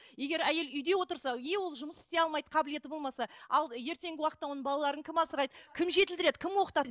егер әйел үйде отырса не ол жұмыс істей алмайды қабілеті болмаса ал ертеңгі уақытта оның балаларын кім асырайды кім жетілдіреді кім оқытады